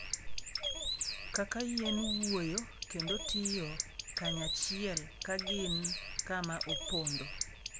Kaka yien wuoyo kendo tiyo kanyachiel ka gin kama opondo